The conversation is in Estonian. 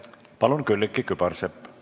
Palun, Külliki Kübarsepp!